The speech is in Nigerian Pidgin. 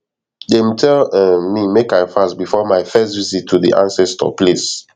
dem tell um me make i fast before my first visit to di ancestor place